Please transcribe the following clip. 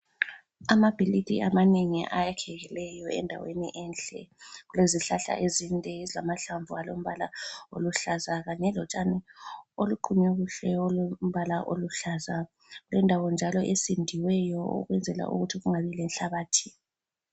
Amabhilidi amanengi ayakhekileyo endaweni enhle. Kulezihlahla ezinde ezilamahlamvu alombala oluhlaza kanye lotshani oluqunywe kuhle olombala oluhlaza. Kulendawo njalo esindiweyo ukwenzela ukuthi kungabi lenhlabathi.